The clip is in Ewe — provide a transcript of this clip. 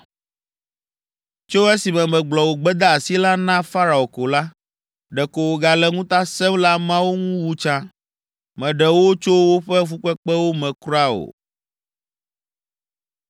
Tso esime megblɔ wò gbedeasi la na Farao ko la, ɖeko wògale ŋuta sẽm le ameawo ŋu wu tsã; mèɖe wo tso woƒe fukpekpewo me kura o!”